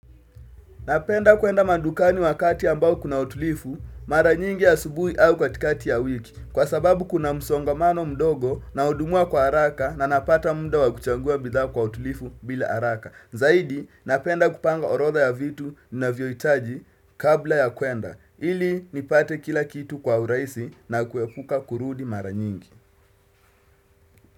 Napenda kuenda madukani wakati ambao kuna utulifu mara nyingi asubuhi au katikati ya wiki kwa sababu kuna msongamano mdogo nahudumiwa kwa haraka na napata muda wa kuchangua bidhaa kwa utulifu bila haraka. Zaidi napenda kupanga orodha ya vitu navyo hitaji kabla ya kuenda ili nipate kila kitu kwa urahisi na kuepuka kurudi mara nyingi.